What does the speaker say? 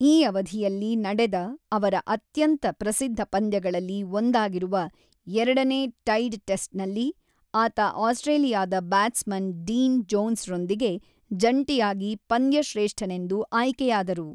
ಈ ಅವಧಿಯಲ್ಲಿ ನಡೆದ ಅವರ ಅತ್ಯಂತ ಪ್ರಸಿದ್ಧ ಪಂದ್ಯಗಳಲ್ಲಿ ಒಂದಾಗಿರುವ ಎರಡನೇ ಟೈಡ್ ಟೆಸ್ಟ್‌ನಲ್ಲಿ, ಆತ ಆಸ್ಟ್ರೇಲಿಯಾದ ಬ್ಯಾಟ್ಸ್‌ಮನ್ ಡೀನ್ ಜೋನ್ಸ್‌ರೊಂದಿಗೆ ಜಂಟಿಯಾಗಿ ಪಂದ್ಯಶ್ರೇಷ್ಠನೆಂದು ಆಯ್ಕೆಯಾದರು.